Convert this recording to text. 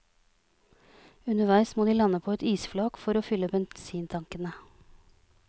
Underveis må de lande på et isflak for å fylle bensintankene.